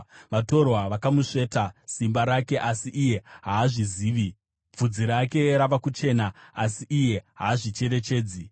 Vatorwa vakamusveta simba rake, asi iye haazvizivi. Bvudzi rake rava kuchena, asi iye haazvicherechedzi.